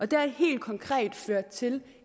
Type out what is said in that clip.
det har helt konkret ført til